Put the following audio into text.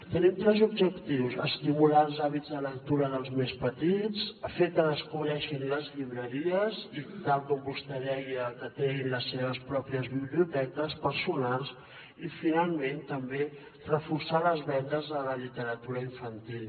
tenim tres objectius estimular els hàbits de lectura dels més petits fer que descobreixin les llibreries i tal com vostè deia que creïn les seves pròpies biblioteques personals i finalment també reforçar les vendes a la literatura infantil